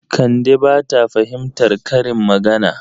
Kande ba ta fahimtar karin magana.